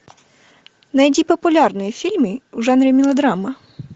найди популярные фильмы в жанре мелодрама